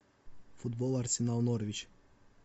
футбол арсенал норвич